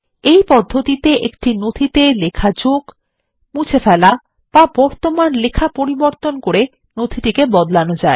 এই পদ্ধতিতে একটি নথিতে লেখা যোগ মুছে ফেলা বা বর্তমান লেখা পরিবর্তন করে নথি টিকে বদলানো যায়